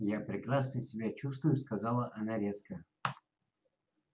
я прекрасно себя чувствую сказала она резко